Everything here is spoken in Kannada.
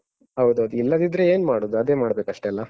ಹೌದೌದು. ಇಲ್ಲದಿದ್ರೆ ಏನ್ ಮಾಡುದು, ಅದೇ ಮಾಡ್ಬೇಕಷ್ಟೆ ಅಲ್ಲ?